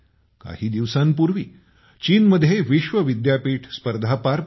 काही दिवसांपूर्वी चीनमध्ये विश्व विद्यापीठ स्पर्धा पार पडल्या